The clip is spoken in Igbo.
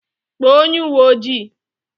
Kpọọ onye uwe ojii!